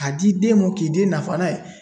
K'a di den mɔ k'i den nafa n'a ye.